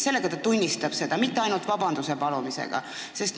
Sellega ta tunnistab seda, ainult vabanduse palumisest ei piisa.